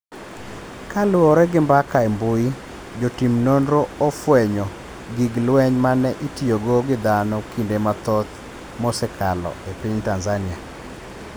kaluore gi mbaka e mbui. Jotim nonro ofwenyo gig lweny mane itiyogo gi dhano kinde mathoth msekalo e piny Tanzania.